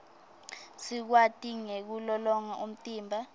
sikwati nekulolonga umtimba